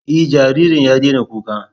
E, jaririn ya daina kukan.